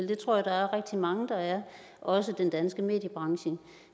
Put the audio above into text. det tror jeg der er rigtig mange der er også den danske mediebranche